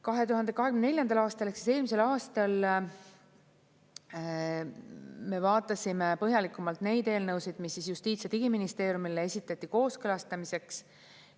2024. aastal ehk siis eelmisel aastal me vaatasime põhjalikumalt neid eelnõusid, mis Justiits- ja Digiministeeriumile esitati kooskõlastamiseks.